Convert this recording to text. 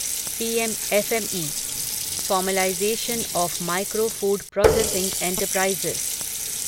PM FME formalisation of micro food processing enterprises scheme